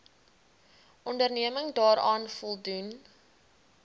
onderneming daaraan voldoen